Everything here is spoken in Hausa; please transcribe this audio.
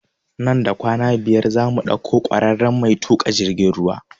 Nan da kwana biyar za mu ɗauko kwararen mai tuƙa jirgin ruwa